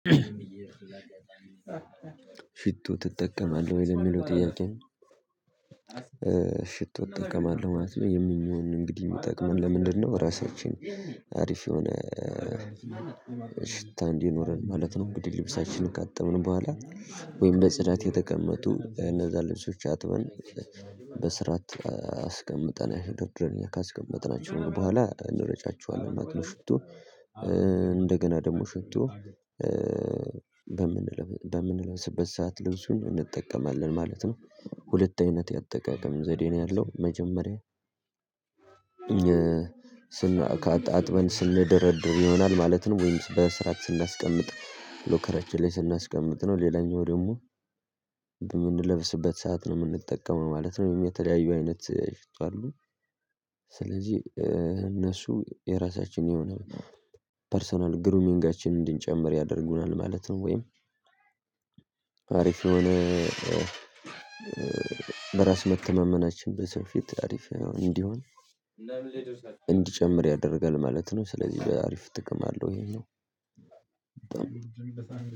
ሽቶ ትጠቀማለህ ወይ የሚለው ጥያቄ? ሽቶ እጠቀማለሁ ማለት ነው፤ ይህም የሚሆን እንግዲህ የሚጠቅመን ለምንድነው ራሳችን አሪፍ የሆነ ሽታ እንዲኖረን ማለት ነው። እንግዲህ ልብሳችንን ካጠብን በኋላ፤ ወይም በጽዳት የተቀመጡ እነዛ ልብሶች አጥበን በስርዓት አስቀምጠን ድርድረን ካስቀመጥናቸው በኋላ እንረጫቸዋለን ማለት ነው። ሽቶ፤ እንደገና ደግሞ ሽቶ በምንለስበት ሰዓት ልብሱን እንጠቀማለን ማለት ነው ሁለት አይነት ያጠቀቀም ዘዴ ነው ያለው። መጀመሪያ ስን አጥበን ስንደረድር ይሆናል ማለት ነው። ወይም በስራት ስናስቀምጥ ሎከራችን ላይ ስናስቀምጥ ነው ሌላኛው ደግሞ በምንለብስበት ሰዓት ነው የምንጠቀመው ማለት ነው። የተለያዩ አይነት ሽቶ አሉ ስለዚህ እነሱ የራሳችን የሆነ ፐርሰናል ግሩሚንጋችንን እንድንጨምር ያደርጉናል ማለት ነው። ወይም አሪፍ የሆነ በራስ መተማመናችን በሰው ፊት አሪፍ እንዲሆን እንዲጨምር ያደርጋል ማለት ነው። ስለዚህ በአሪፍ ጥቅም አለው። ይሄኛው